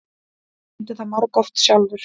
Ég reyndi það margoft sjálfur.